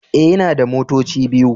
E, ina da motoci biyu.